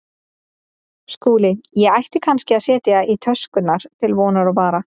SKÚLI: Ég ætti kannski að setja í töskurnar til vonar og vara.